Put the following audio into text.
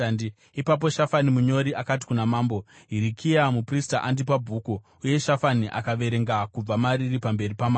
Ipapo Shafani munyori akati kuna mambo, “Hirikia muprista andipa bhuku.” Uye Shafani akaverenga kubva mariri pamberi pamambo.